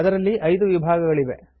ಅದರಲ್ಲಿ 5 ವಿಭಾಗಗಳಿವೆ